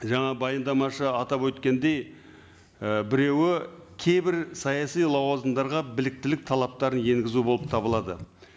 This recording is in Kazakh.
жаңа баяндамашы атап өткендей і біреуі кейбір саяси лауазымдарға біліктілік талаптарын енгізу болып табылады